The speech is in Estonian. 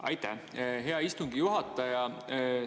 Aitäh, hea istungi juhataja!